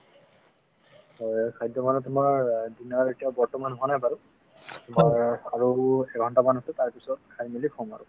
হয়, খাদ্য মানে তোমাৰ dinner এতিয়া বৰ্তমান হোৱা নাই বাৰু আৰু এঘন্টা মান আছে তাৰ পিছত খাই মেলি শুম আৰু